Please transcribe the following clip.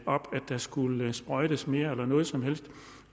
op at der skulle sprøjtes mere eller noget som helst